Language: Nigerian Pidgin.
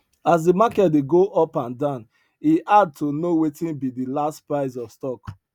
as the market dey go up and down e hard to know wetin be the last price of stock